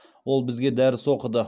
ол бізге дәріс оқыды